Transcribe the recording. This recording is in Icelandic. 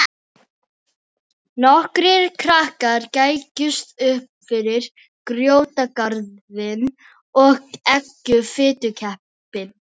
Nokkrir krakkar gægðust uppfyrir grjótgarðinn og eggjuðu fitukeppinn.